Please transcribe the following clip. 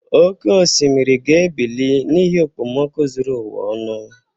Oke osimiri ga-ebili n'ihi okpomoku zuru ụwa ọnụ.